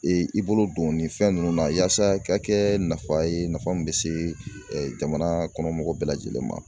i bolo don nin fɛn nunnu na yasa i ka kɛ nafa ye nafa min bɛ se ɛ jamana kɔnɔ mɔgɔ bɛɛ lajɛlen ma.